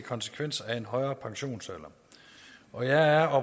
konsekvenser af en højere pensionsalder og jeg er